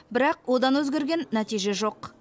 бірақ одан өзгерген нәтиже жоқ